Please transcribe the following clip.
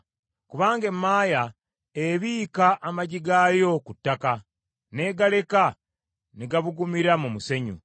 Kubanga emaaya ebiika amagi gaayo ku ttaka, n’egaleka ne gabugumira mu musenyu,